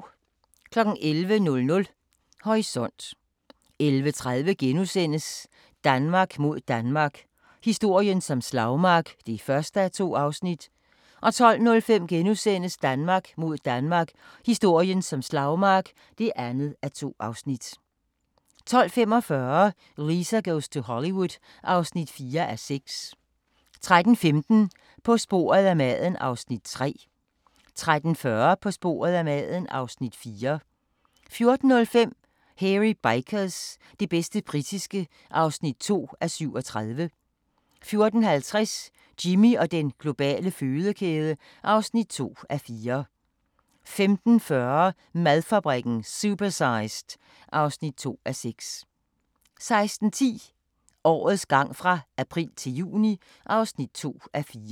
11:00: Horisont 11:30: Danmark mod Danmark – historien som slagmark (1:2)* 12:05: Danmark mod Danmark – historien som slagmark (2:2)* 12:45: Lisa goes to Hollywood (4:6) 13:15: På sporet af maden (Afs. 3) 13:40: På sporet af maden (Afs. 4) 14:05: Hairy Bikers – det bedste britiske (2:37) 14:50: Jimmy og den globale fødekæde (2:4) 15:40: Madfabrikken – Supersized (2:6) 16:10: Årets gang fra april til juni (2:4)